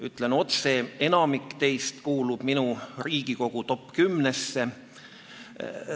Ütlen otse: enamik teist kuulub minu Riigikogu top-10-sse.